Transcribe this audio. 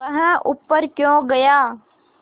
वह ऊपर क्यों गया